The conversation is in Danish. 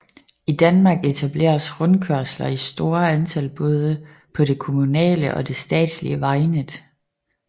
I Danmark etableres rundkørsler i store antal både på det kommunale og det statslige vejnet